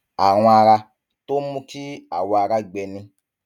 àrùn ara tó ń mú kí awọ ara gbẹ ni